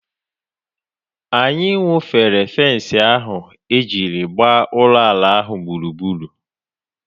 Anyị wụfere fens ahụ e jiri gbaa ụlọ ala ahụ gburugburu.